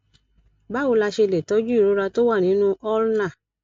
báwo la ṣe lè tọjú ìrora tó wà nínú ulna